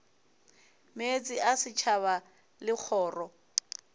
meetse a setšhaba le kgoro